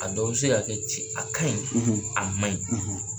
A dɔw be se ka kɛ ce a kaɲi a maɲi